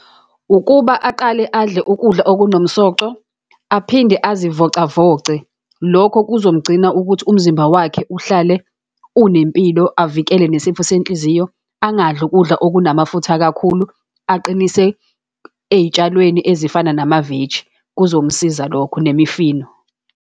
Ukuba aqale adle ukudla okunomsoco, aphinde azivocavoce. Lokho kuzomgcina ukuthi umzimba wakhe uhlale unempilo, avikele nesifo senhliziyo, angadli ukudla okunamafutha kakhulu, aqinise ey'tshalweni ezifana namaveji, kuzomsiza lokho nemifino.